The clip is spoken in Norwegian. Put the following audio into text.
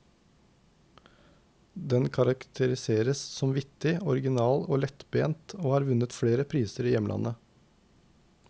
Den karakteriseres som vittig, original og lettbent, og har vunnet flere priser i hjemlandet.